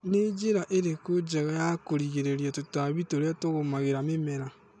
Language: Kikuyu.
nĩ njĩra ĩrĩkũ njega ya kũrĩgĩrĩria tũtambi tũrĩa tũgũmagĩra mĩmera